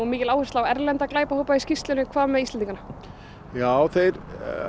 mikil áhersla á erlenda glæpahópa í skýrslunni hvað með Íslendingana þeir